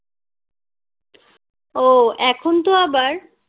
ও এখন তো আবার